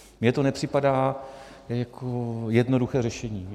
Mně to nepřipadá jako jednoduché řešení.